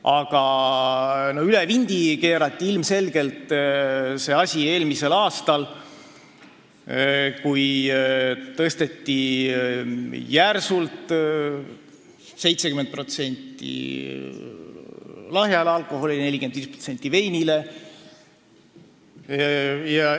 Aga ilmselgelt keerati asi üle vindi eelmisel aastal, kui tõsteti järsult lahja alkoholi aktsiise – 70 ja 45%.